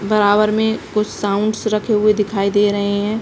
बराबर मे कुछ साउंडस रखे हुए दिखाई दे रहे है।